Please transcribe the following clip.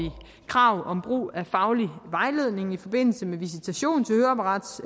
krav om brug af faglig vejledning i forbindelse med visitation